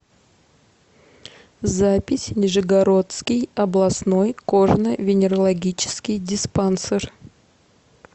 запись нижегородский областной кожно венерологический диспансер